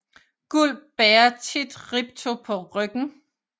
Gulp bærer tit Ripto på ryggen